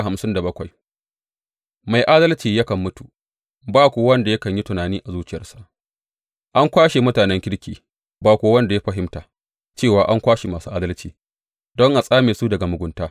Mai adalci yakan mutu, ba kuwa wanda yakan yi tunani a zuciyarsa; an kwashe mutanen kirki, ba kuwa wanda ya fahimta cewa an kwashe masu adalci don a tsame su daga mugunta.